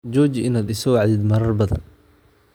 Jooji inaad i soo wacdin marar badan